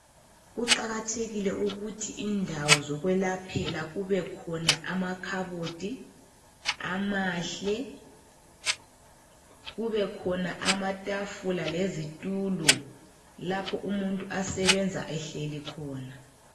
Kuqakathekile ukuthi indawo zokwelaphela kubekhona amakhabothi amahle, kubekhona amatafula lezitulo lapho umuntu asebenza ehleli khona.